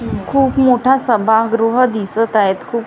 खूप मोठा सभागृह दिसत आहेत खूप--